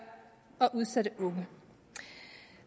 og udsatte unge